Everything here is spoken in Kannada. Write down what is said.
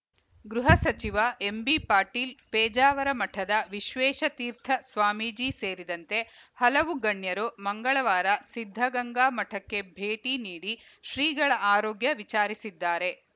ಗೃಹ ಸಚಿವ ಎಂಬಿಪಾಟೀಲ್‌ ಪೇಜಾವರ ಮಠದ ವಿಶ್ವೇಶತೀರ್ಥ ಸ್ವಾಮೀಜಿ ಸೇರಿದಂತೆ ಹಲವು ಗಣ್ಯರು ಮಂಗಳವಾರ ಸಿದ್ಧಗಂಗಾ ಮಠಕ್ಕೆ ಭೇಟಿ ನೀಡಿ ಶ್ರೀಗಳ ಆರೋಗ್ಯ ವಿಚಾರಿಸಿದ್ದಾರೆ